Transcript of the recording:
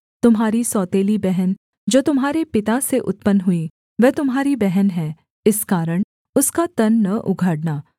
तुम्हारी सोतेली बहन जो तुम्हारे पिता से उत्पन्न हुई वह तुम्हारी बहन है इस कारण उसका तन न उघाड़ना